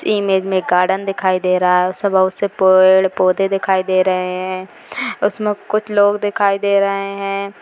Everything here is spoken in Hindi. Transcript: इमेज में गार्डन दिखाई रहा है उस में बहुत से पेड़ पौधे दिखाई दे रहे हैं उस में कुछ लोग दिखाई दे रहे हैं।